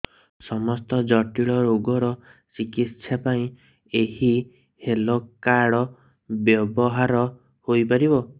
ସମସ୍ତ ଜଟିଳ ରୋଗର ଚିକିତ୍ସା ପାଇଁ ଏହି ହେଲ୍ଥ କାର୍ଡ ବ୍ୟବହାର ହୋଇପାରିବ